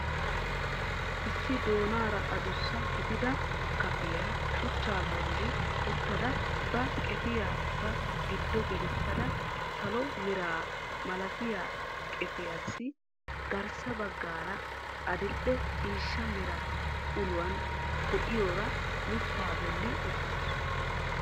Issi doonaara adussa gidida kafiyaa shuchchaa bolli uttada ba qefiyaa ba giddo gelissada salo mera malatiyaa qefiyaasi garssa baggaara adil"e ciishsha mera uluwaan de'iyoora mittaa bolli uttasu.